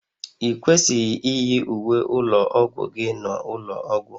I kwesịghị iyi uwe ụlọ ọgwụ gị n'ụlọ ọgwụ